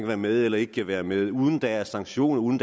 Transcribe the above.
være med i eller ikke kan være med i og uden at der er sanktioner uden